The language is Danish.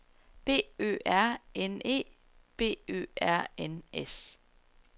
B Ø R N E B Ø R N S